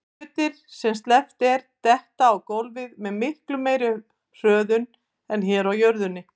Hlutir sem sleppt er detta á gólfið með miklu meiri hröðun en hér á jörðinni.